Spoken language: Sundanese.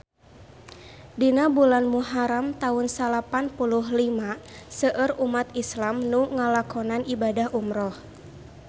Dina bulan Muharam taun salapan puluh lima seueur umat islam nu ngalakonan ibadah umrah